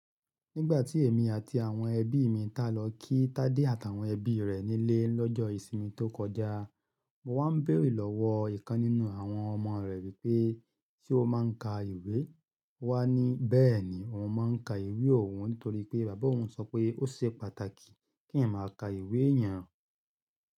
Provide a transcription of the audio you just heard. Nígbà tí èmi àti àwọn ẹbí mi tá lọ kí Tádé àtàwọn ẹbí rẹ̀ nílé lọ́jọ́ ìsinmi tó kọjá, mo wá ń bèèrè lọ́wọ́ ìkan nínú àwọn ọmọ rẹ̀ wípé, ṣé o máa ń ka ìwé? Ó wá ní bẹ́ẹ̀ni, oun máa ń ka ìwé òun nítorí pé bàbá òun sọ pé ó ṣe pàtàkì kí èèyàn máa ka ìwé yàn.